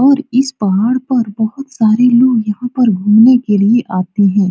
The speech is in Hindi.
और इस पहाड़ पर बहुत सारे लोग यहाँ पर घूमने के लिए आते हैं।